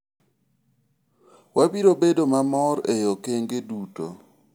wabiro bedo mor e okenge duto